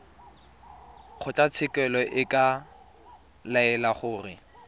kgotlatshekelo e ka laela gore